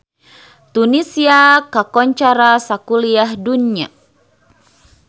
Tunisia kakoncara sakuliah dunya